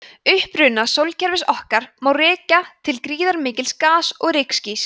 uppruna sólkerfis okkar má rekja til gríðarmikils gas og rykskýs